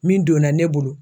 Min donna ne bolo.